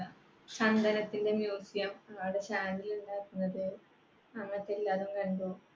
ചന്ദനത്തിന്റെ museum അവിടെ ഉണ്ടാക്കുന്നത് അങ്ങനത്തെ എല്ലാത്തും കണ്ടു